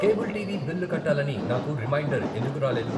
Cable TV bill కట్టాలని నాకు reminder ఎందుకు రాలేదు?